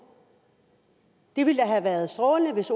det ville da have været strålende hvis